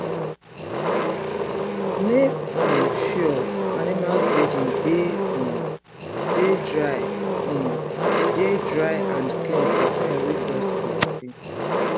make um sure animals bedding dey um dey dry um dey dry and clean for time wey dust plenty